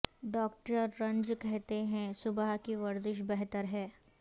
doctor رنج کہتے ہیں صبح کی ورزش بہتر ہے